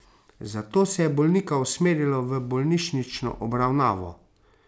Zato se je bolnika usmerilo v bolnišnično obravnavo.